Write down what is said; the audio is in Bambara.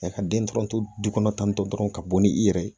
ka den dɔrɔnto kɔnɔ tan tɔ dɔrɔn ka bɔ ni i yɛrɛ ye